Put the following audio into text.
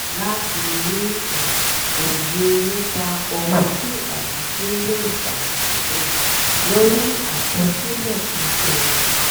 láti ní um òye nípa ohun tí àṣìṣe lè fà um lóri àkọsílẹ ìgbẹ̀yìn.